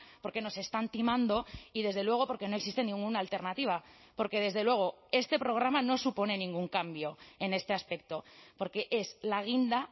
porque nos están timando y desde luego porque no existe ninguna alternativa porque desde luego este programa no supone ningún cambio en este aspecto porque es la guinda